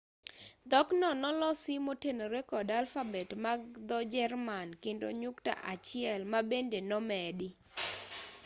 dhokno nolosi motenore kod alfabet bag dho-jerman kendo nyukta achiel ma õ/õ” bende nomedi